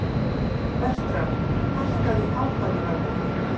Bertram, hækkaðu í hátalaranum.